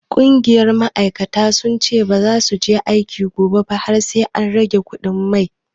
Ƙungiyar ma'aikata sun ce baza su je aiki gobe ba har sai an rage kuɗin mai.